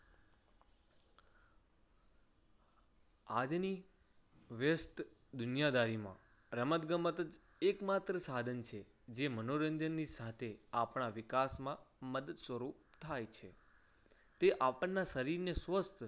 આજની વ્યસ્ત દુનિયાદારીમાં રમતગમતજ એકમાત્ર સાધન છે. જે મનોરંજનની સાથે આપણા વિકાસમાં મદદ સ્વરૂપ થાય છે. તે આપણના શરીરને સ્વસ્થ